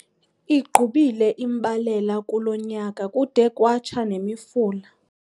Igqubile imbalela kulo nyaka kude kwatsha nemifula.